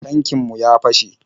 Tankin mu ya fashe.